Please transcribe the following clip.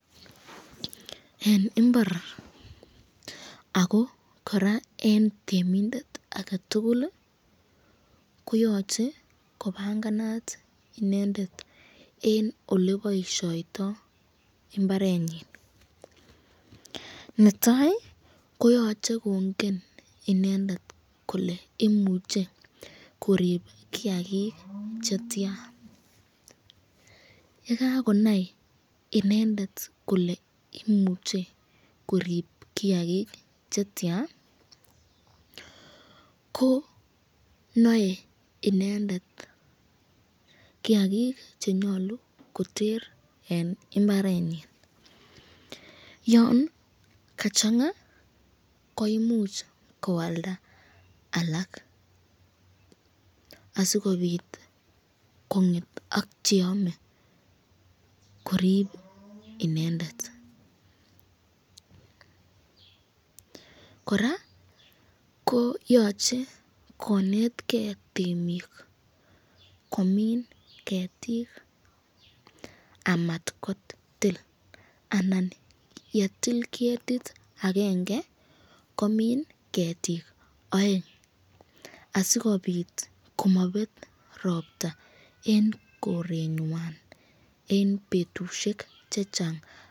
En imbarr ago kora en temindet age tugul koyoche kopanganat inendet en ole boisioito mbarenyin. Netai ko yoche kongen inendet kole imuche korib kiyagik che tyan, ye kagonai inendet kole imuch ekorib kiyagik che tyan, ko noe inendet kiyagik ch enyolu koter en mbarenyin, yon kachang'a koimuch koalda alak asikobit kong'et ak cheyome korib inendet kora koyoche konetkei temik komin ketik amatkotil anan ye til ketit agenge komin ketik oeng. Asikobit komatkobet ropta en korenywan en betusiek che chang.